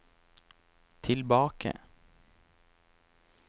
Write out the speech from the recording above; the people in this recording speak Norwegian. tilbake